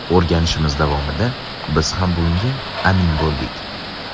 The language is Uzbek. O‘rganishimiz davomida biz ham bunga amin bo‘ldik.